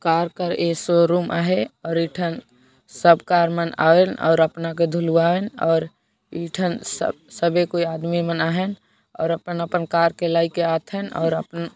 कार कर A C room आहाय और एठन सब कार मन आइन और अपना के धुलवाइन और इ ठन सबे कोई आदमी मन आहाय और आपन आपन कार के ले के आथे और आपन --